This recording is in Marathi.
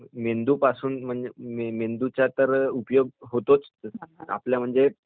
मेंदूपासून म्हणजे मेंदूचा तर उपयोग होतोच आपल्या म्हणजे